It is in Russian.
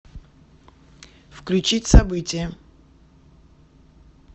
включить событие